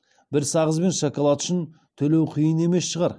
бір сағыз бен шоколад үшін төлеу қиын емес шығар